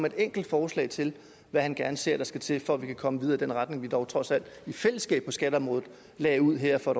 et enkelt forslag til hvad han gerne ser skal til for at vi kan komme videre i den retning vi dog trods alt i fællesskab på skatteområdet lagde ud her for